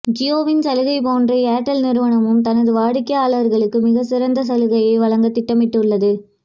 ஜியோவின் சலுகை போன்றே ஏர்டெல் நிருவனமும் தனது வாடிக்கையாளர்களுக்கு மிக சிறந்த சலுகையை வழங்க திட்டமிட்டு உள்ளது